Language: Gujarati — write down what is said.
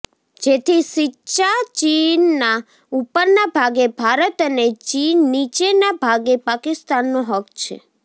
જેથી સિચાચીનના ઉપરનાં ભાગે ભારત અને નીચેના ભાગે પાકિસ્તાનનો હક્ક છે